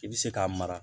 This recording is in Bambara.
I bi se k'a mara